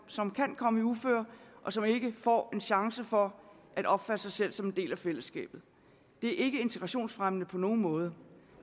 som kan komme i uføre og som ikke får en chance for at opfatte sig selv som en del af fællesskabet det er ikke integrationsfremmende på nogen måde